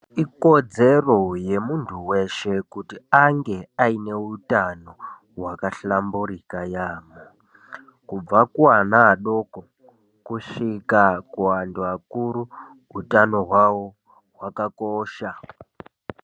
Ikodzero yemunthu weshe kuti ange aine utano hwakahlamburika yaampho. Kubva kuana adoko kusvika kuanthu akuru utano hwawo hwakakosha.